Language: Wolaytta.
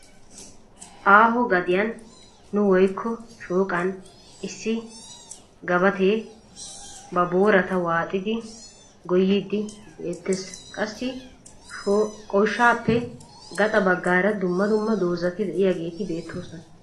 Aaho gadiyan n woyikko shooqan issi gabatee ba boorata waaxidi goyyiiddi beettesqassi goshshaappe gaxa baggaara dumma dumma dozzati diyageeti beettoosona.